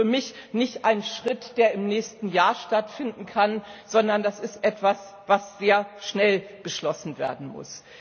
Und das ist für mich nicht ein Schritt, der im nächsten Jahr stattfinden kann, sondern das ist etwas, was schnell beschlossen werden muss.